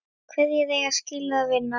Hverjir eiga skilið að vinna?